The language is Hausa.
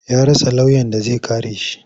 Ya rasa lauyan da zai kare shi.